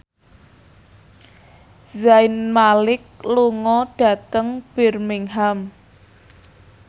Zayn Malik lunga dhateng Birmingham